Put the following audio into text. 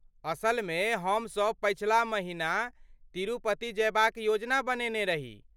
असलमे, हमसभ पछिला महिना तिरुपति जयबा क योजना बनेने रही।